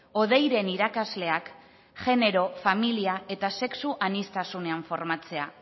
hodeiren irakasleak genero familia eta sexu aniztasunean formatzea